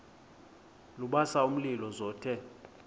lubasa umlilo zothe